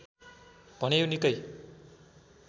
भने यो निकै